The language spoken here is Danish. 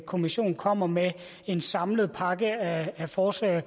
kommission kommer med en samlet pakke af forslag